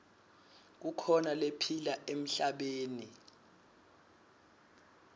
kukhona lephila emhlabeni